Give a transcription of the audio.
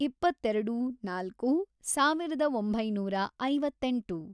ಇಪ್ಪತ್ತೆರೆೆಡು, ನಾಲ್ಕು, ಸಾವಿರದ ಒಂಬೈನೂರ ಐವತ್ತೆಂಟು